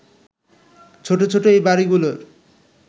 ছোট ছোট এই বাড়িগুলোর